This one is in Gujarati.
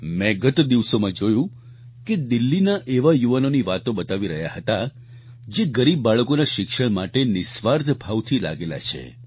મેં ગત દિવસોમાં જોયું કે દિલ્હીના એવા યુવાનોની વાતો બતાવી રહ્યા હતા જે ગરીબ બાળકોના શિક્ષણ માટે નિઃસ્વાર્થ ભાવથી લાગેલા છે